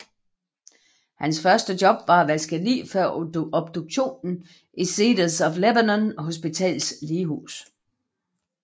Hans første job var at vaske lig før obduktion i Cedars of Lebanon Hospitals lighus